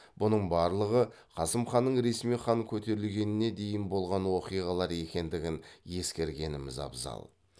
бұның барлығы қасым ханның ресми хан көтерілгеніне дейін болған оқиғалар екендігін ескергеніміз абзал